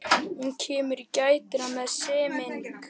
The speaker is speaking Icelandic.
Hún kemur í gættina með semingi.